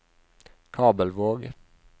Kabelvåg